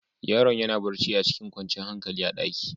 Yaron ya na barci a cikin kwancan hankali a'ɗaki.